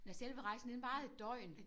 Nåh selve rejsen den varede et døgn